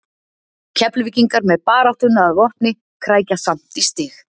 Keflvíkingar með baráttuna að vopni krækja samt í stig.